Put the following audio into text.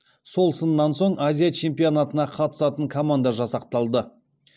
сол сыннан соң азия чемпионатына қатысатын команда жасақталды